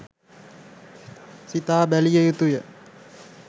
සිතා බැලිය යුතු ය.